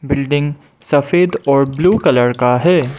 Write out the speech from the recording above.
Building सफेद और blue colour का है।